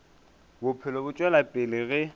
bophelo bo tšwela pele ge